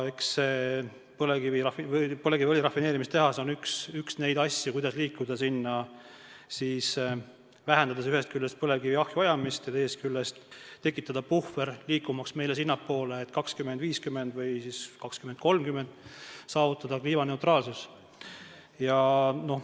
Eks see põlevkiviõli rafineerimise tehas ole üks neid asju, mille abil saab liikuda selle poole, vähendades ühest küljest põlevkivi ahju ajamist ja teisest küljest tekitades puhvri, et 2050 või 2030 saavutada kliimaneutraalsus.